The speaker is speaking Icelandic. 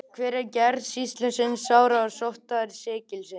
Hver er gerð sýkilsins sárasóttar sýkilsins?